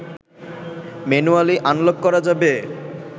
manually unlock করা যাবে